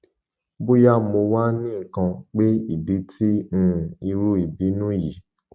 boya mo wa nikan pe idi ti um iru ibinu yii